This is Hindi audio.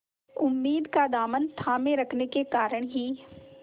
उम्मीद का दामन थामे रखने के कारण ही